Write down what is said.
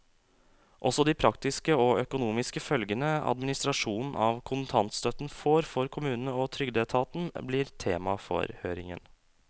Også de praktiske og økonomiske følgene administrasjonen av kontantstøtten får for kommunene og trygdeetaten, blir tema for høringen.